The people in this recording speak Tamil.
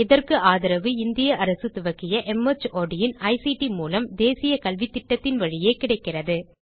இதற்கு ஆதரவு இந்திய அரசு துவக்கிய மார்ட் இன் ஐசிடி மூலம் தேசிய கல்வித்திட்டத்தின் வழியே கிடைக்கிறது